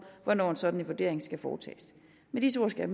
hvornår en sådan vurdering skal foretages med disse ord skal